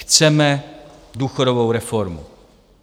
Chceme důchodovou reformu.